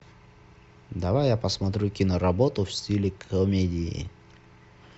давай я посмотрю киноработу в стиле комедии